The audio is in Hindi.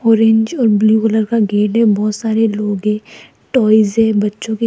ऑरेंज और ब्लू कलर का गेट है बहोत सारे लोग है टॉयज है बच्चों के।